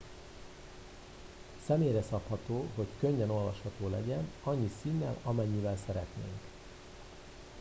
személyre szabható hogy könnyen olvasható legyen annyi színnel amennyivel szeretnénk